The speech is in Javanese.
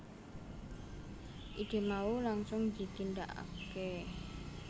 Ide mau langsung ditindakake